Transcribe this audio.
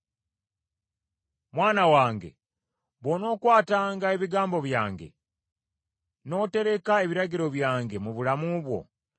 Mwana wange, bw’onookwatanga ebigambo byange, n’otereka ebiragiro byange mu bulamu bwo,